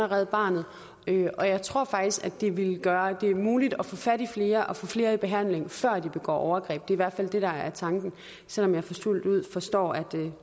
red barnet og jeg tror faktisk at det ville gøre at det blev muligt at få fat i flere og få flere i behandling før de begår overgreb det er i hvert fald det der er tanken selv om jeg fuldt ud forstår at